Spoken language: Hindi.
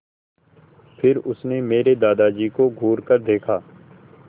फिर उसने मेरे दादाजी को घूरकर देखा